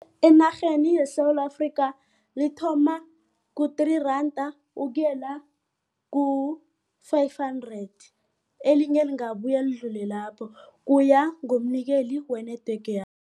Enarheni yeSewula Afrika lithoma ku- three randa ukuyela ku-five hundred elinye lingabuya lidlule lapho kuya ngomnikeli we-network